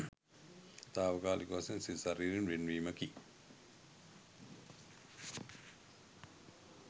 තාවකාලික වශයෙන් සිත ශරීරයෙන් වෙන්වීමකි.